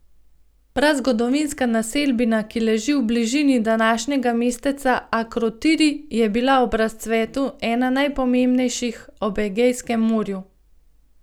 Prazgodovinska naselbina, ki leži v bližini današnjega mesteca Akrotiri, je bila ob razcvetu ena najpomembnejših ob Egejskem morju.